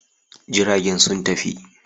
Jiragen sun tafi.